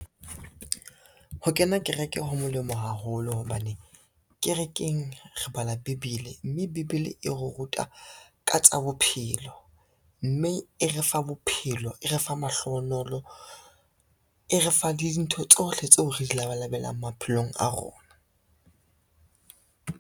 Ho kena kereke ho molemo haholo hobane, kerekeng re bala Bebele, mme Bebele e re ruta ka tsa bophelo, mme e re fa bophelo, e re fa mahlohonolo, e re fa le dintho tsohle tseo re di labalabelang maphelong a rona.